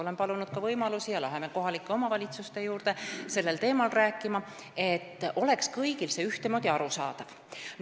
Oleme palunud ka võimalust minna kohalike omavalitsuste juurde sellel teemal rääkima, et see oleks kõigile ühtemoodi arusaadav.